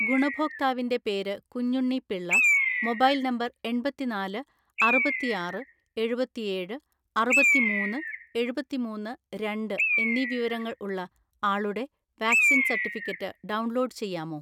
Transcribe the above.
ഗുണഭോക്താവിന്റെ പേര് Kunjunni Pillai , mobile number എണ്‍പത്തിനാല് അറുപത്തിആറ് എഴുപത്തിഏഴ് അറുപത്തിമൂന്ന് എഴുപത്തിമൂന്ന് രണ്ട് എന്നീ വിവരങ്ങൾ ഉള്ള ആളുടെ വാക്‌സിൻ സർട്ടിഫിക്കറ്റ് ഡൗൺലോഡ് ചെയ്യാമോ?